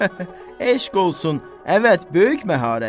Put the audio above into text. Eşq olsun, əvəd, böyük məharət.